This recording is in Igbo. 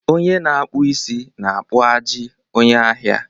Onye na-akpụ isi na-akpụ ajị onye ahịa